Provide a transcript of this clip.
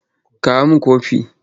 Kawo min kofi!